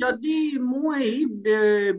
ଯଦି ମୁଁ ହେଇ